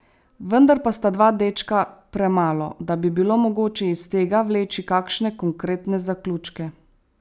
Vendar pa sta dva dečka premalo, da bi bilo mogoče iz tega vleči kakšne konkretne zaključke.